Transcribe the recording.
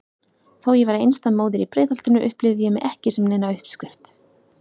Þó ég væri einstæð móðir í Breiðholtinu upplifði ég mig ekki sem neina uppskrift.